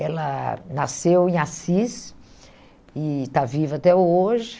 Ela nasceu em Assis e está viva até hoje.